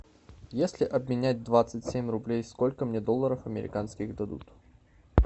если обменять двадцать семь рублей сколько мне долларов американских дадут